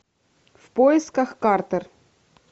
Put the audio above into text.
в поисках картер